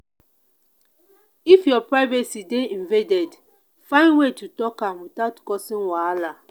if your privacy dey invaded find way to talk am without causing wahala.